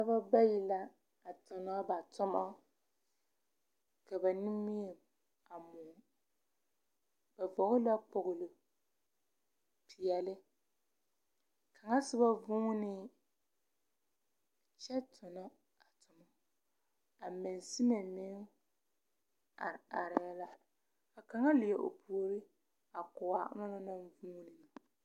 Dͻbͻ bayi la a tonͻ ba toma ka ba nimie a mõͻ. Ba kpoge la kpooli peԑle. Kaŋa soba vuunee kyԑ tonͻ a toma. A mansime meŋ are arԑԑ la, ka kaŋa leԑ o puoriŋ a ko a onaŋ naŋ vuuni na.